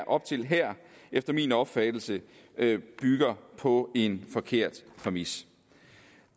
op til her efter min opfattelse bygger på en forkert præmis